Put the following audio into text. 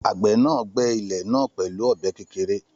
Àgbẹ̀ náà gbẹ́ ilẹ̀ náà pẹ̀lú ọ̀bẹ kékeré